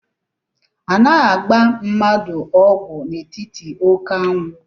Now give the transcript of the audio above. Anaghị agba mmadụ ọgwụ n'etiti oké anwụ